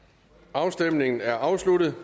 afstemningen er afsluttet